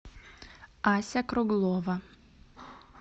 ася круглова